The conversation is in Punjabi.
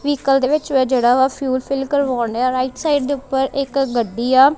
ਵਹੀਕਲ ਦੇ ਵਿੱਚ ਜਿਹੜਾ ਫਿਊਲ ਫਿਲ ਕਰਵਾਉਣ ਡਿਆ ਰਾਈਟ ਸਾਈਡ ਦੇ ਉੱਪਰ ਇੱਕ ਗੱਡੀ ਆ।